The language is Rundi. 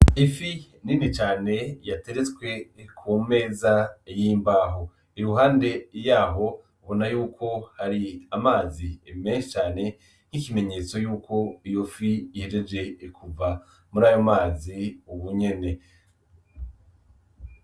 Ifi nini cane yateretswe kumeza y'imbaho, iruhande yaho Urabona y’ukouko hari amazi menshi cane n'ikimenyetso y’uko iyo fi ihejeje kuva murayo mazi ubunyene.